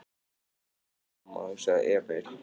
Veslings mamma, hugsaði Emil.